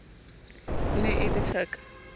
e ne e le tjaka